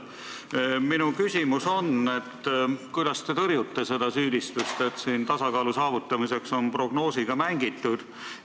Minu küsimus on: kuidas te tõrjute süüdistust, et tasakaalu saavutamiseks on prognoosiga mängitud?